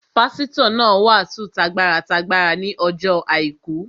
Pásítọ̀ náà wàásù t'agbára t'agbára ní ọjọ́ àìkú